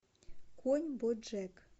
конь боджек